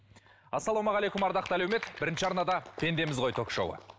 ассаламағалейкум ардақты әлеумет бірінші арнада пендеміз гой ток шоуы